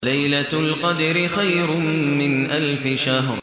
لَيْلَةُ الْقَدْرِ خَيْرٌ مِّنْ أَلْفِ شَهْرٍ